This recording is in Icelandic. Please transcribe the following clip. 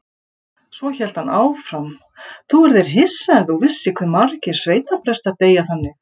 Svo hélt hann áfram: Þú yrðir hissa ef þú vissir hve margir sveitaprestar deyja þannig.